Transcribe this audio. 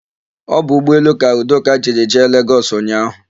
Ọ bụ ụgbọelu ka Udoka jiri jee Legọs ụnyaahụ.